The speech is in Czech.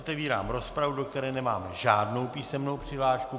Otevírám rozpravu, do které nemám žádnou písemnou přihlášku.